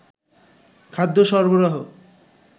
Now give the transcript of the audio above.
খাদ্য সরবরাহ